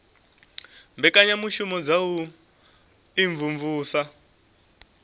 mbekanyamushumo dza u imvumvusa na